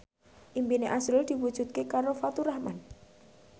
impine azrul diwujudke karo Faturrahman